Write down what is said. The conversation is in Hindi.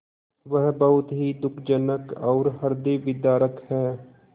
वह बहुत ही दुःखजनक और हृदयविदारक है